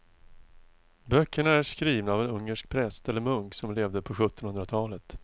Böckerna är skrivna av en ungersk präst eller munk som levde på sjuttonhundratalet.